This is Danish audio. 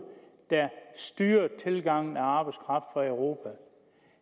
der styrede tilgangen af arbejdskraft fra europa